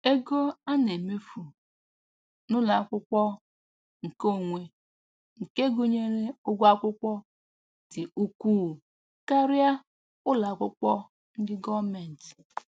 Ego a na-emefu n'ụlọakwụkwọ nke onwe nke gụnyere ụgwọ akwụkwọ dị ukwuu karịa ụlọ akwụkwọ ndị gọọmentị